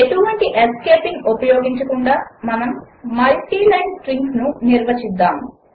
ఎటువంటి ఎస్కేపింగ్ ఉపయోగించకుండా మనము మల్టీ లైన్ స్ట్రింగ్స్ను నిర్వచించుదాము